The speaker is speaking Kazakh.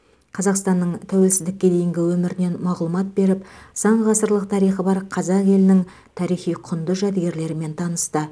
қазақстанның тәуелсіздікке дейінгі өмірінен мағлұмат беріп сан ғасырлық тарихы бар қазақ елінің тарихи құнды жәдігерлерімен танысты